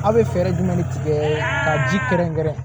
Aw bɛ fɛɛrɛ jumɛn de tigɛ ka ji kɛrɛnkɛrɛn